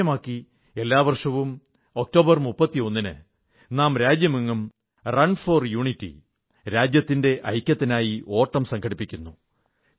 അതു ലക്ഷ്യമാക്കി എല്ലാ വർഷവും ഒക്ടോബർ 31 ന് നാം രാജ്യമെങ്ങും റൺ ഫോർ യൂണിറ്റി രാജ്യത്തിന്റെ ഐക്യത്തിനായി ഓട്ടം സംഘടിപ്പിക്കുന്നു